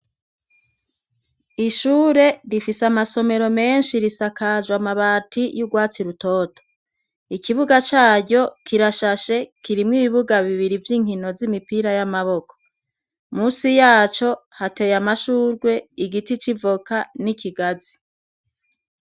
Ishure rifise amasomero meshi risakajwe amabati yugwatsi rutoto, ikibuga caryo kirashashe kirimwo ibibuga bibiri vyinkino zumupira y'amaboko, musi yaco hateye amashugwe igiti c'ivoka n'ikigazi.